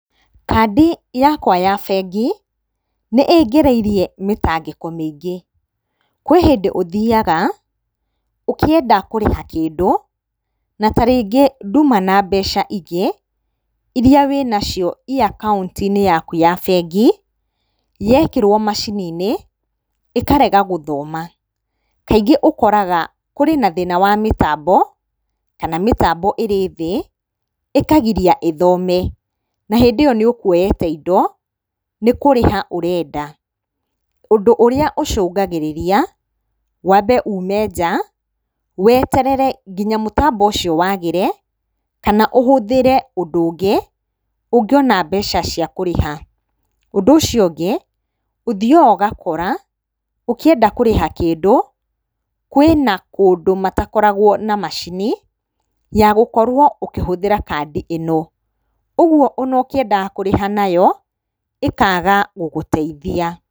Kandi yakwa ya bengi nĩĩngereirie mĩtangĩko mĩingĩ. Kwĩ hĩndĩ ũthiyaga ũkĩenda kũrĩha kĩndũ na ta rĩngĩ nduma na mbeca ingĩ, iria wĩnacio i akaũnti-inĩ yaku ya bengi yekĩrwo macini-inĩ ekarega gũthoma. Kaingĩ ũkoraga kũrĩ na thĩna wa mĩtambo kana mĩtambo ĩrĩ thĩ ĩkagiria ĩthome na hĩndĩ ĩyo nĩũkuoyete indo nĩkũrĩha ũrenda. Ũndũ ũrĩa ũcũngagĩrĩria wambe ume nja weterere nginya mũtambo ũcio wagĩre, kana ũhũthĩre ũndũ ũngĩ ũngĩona mbeca cia kũrĩha. Ũndũ ũcio ũngĩ ũthiyaga ũgakora ũngĩenda kũrĩha kĩndũ kwĩna kũndũ matakorwago na macini yagũkorwo ũkĩhũthĩra kandi ĩno, ũguo ona ũkĩendaga kũrĩha nayo ĩkaga gũgũteithia.